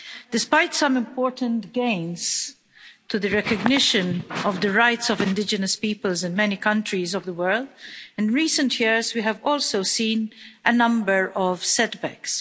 Despite some important gains in the recognition of the rights of indigenous peoples in many countries of the world, in recent years we have also seen a number of setbacks.